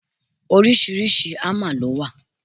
Oríṣiríṣi hámà lọ wà.